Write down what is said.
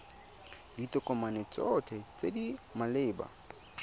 ditokomane tsotlhe tse di maleba